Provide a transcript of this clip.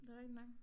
Det rigtig nok